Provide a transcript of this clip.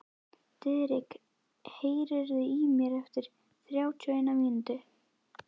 Diðrik, heyrðu í mér eftir þrjátíu og eina mínútur.